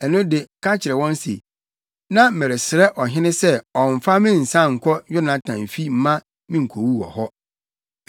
ɛno de ka kyerɛ wɔn se, ‘Na meresrɛ ɔhene sɛ ɔmmfa me nsan nkɔ Yonatan fi mma me nkowu wɔ hɔ.’ ”